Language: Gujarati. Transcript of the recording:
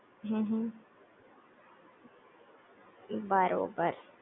હહ બરોબર